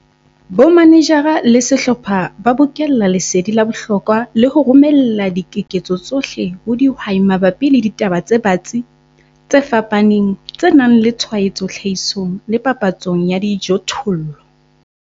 Bomanejara le sehlopha ba bokella lesedi la bohlokwa le ho romella dikeketso tsohle ho dihwai mabapi le ditaba tse batsi, tse fapaneng, tse nang le tshwaetso tlhahisong le papatsong ya dijothollo.